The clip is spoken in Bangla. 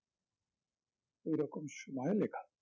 এরকম সময়ে লেখা